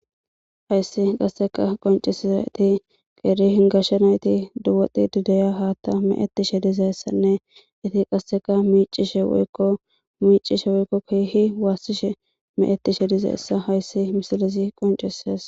Hayssi qasseka qoncesiza iti qeeri hingashsha nayti duwoti dideya haatta meetishe dizayessanne iti qasseka miicishe woykko miicishe woykko kihi waassishe me'ettishe dizaessa hayssi misilisi qonceses.